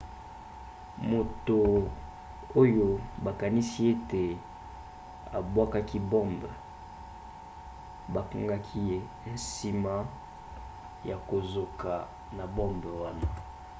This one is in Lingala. moto oyo bakanisi ete abwakaki bombe bakangaki ye nsima ya kozoka na bombe wana